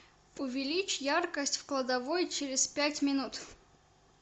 увеличь яркость в кладовой через пять минут